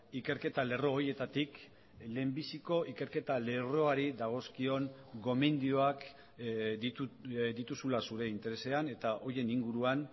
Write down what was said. ikerketa lerro horietatik lehenbiziko ikerketa lerroari dagozkion gomendioak dituzula zure interesean eta horien inguruan